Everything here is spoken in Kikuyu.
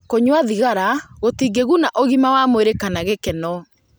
Kũnyua thigara gũtingĩguna ũgima wa mwĩrĩ kana gĩkeno.